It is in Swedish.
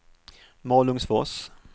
Malungsfors